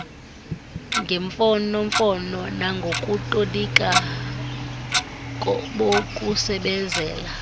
ngemfonomfono nangokutolika bokusebezela